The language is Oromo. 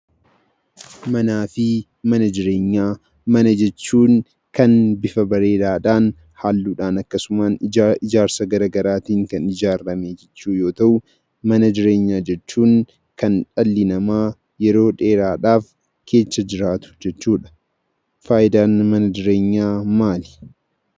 Mana jechuun kan bifa bareedaadhaan, halluudhaan akkasumaan ijaarsa gara garaatiin kan ijaarame jechuu yoo ta'u, mana jireenyaa jechuun kan dhalli namaa yeroo dheeraadhaaf keessa jiraatu jechuudha. Faayidaan mana jireenyaa maali?